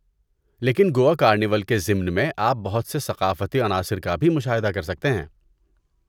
لیکن گوا کارنیول کے ضمن میں، آپ بہت سے ثقافتی عناصر کا بھی مشاہدہ کر سکتے ہیں۔